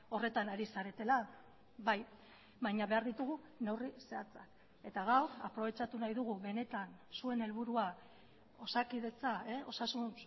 horretan ari zaretela bai baina behar ditugu neurri zehatzak eta gaur aprobetxatu nahi dugu benetan zuen helburua osakidetza osasun